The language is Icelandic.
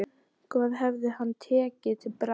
Hvað hefði hann tekið til bragðs?